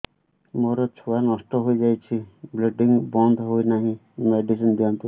ମୋର ଛୁଆ ନଷ୍ଟ ହୋଇଯାଇଛି ବ୍ଲିଡ଼ିଙ୍ଗ ବନ୍ଦ ହଉନାହିଁ ମେଡିସିନ ଦିଅନ୍ତୁ